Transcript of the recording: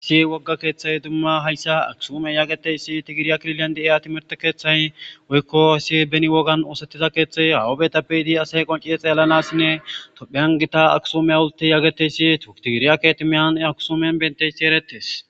si wogga keeththay dumma hayssa aksume yageteyssi tigiriya klilyan di7eya timirte keeththay woykko si beni wogan oosettiza keeththay hawabetappeyidi asey qoncie xeellanassinne topheyan gita aksume awulti yaageteyssi tutigiriyaketimiyan akusumen benteyssi erettes